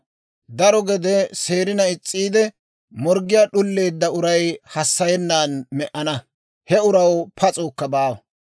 Daro gede seerina is's'iide, morggii d'uleedda uray hassayennan me"ana; he uraw pas'uukka baawa.